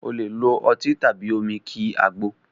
O lè lo ọtí tàbí omi kí àgbo